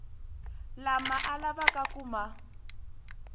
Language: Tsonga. lama a lavaka ku ma